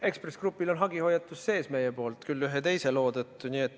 Ekspress Grupile on meie poolt hagihoiatus sees, küll ühe teise loo tõttu.